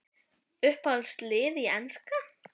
Uppáhalds lið í enska?